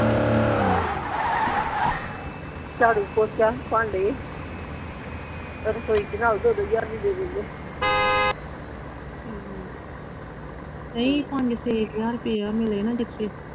ਝਾੜੂ ਪੋਚਾ ਭਾਂਡੇ ਰਸੋਈ ਚ ਨਾਲ ਦੋ ਦੋ ਹਜ਼ਾਰ ਵੀ ਦੇ ਦਿੰਦੇ ਠੀਕ ਆ ਨਹੀਂ ਪੰਜ ਛੇ ਹਜ਼ਾਰ ਰੁਪਈਆ ਮਿਲੇ ਨਾ ਜਿੱਥੇ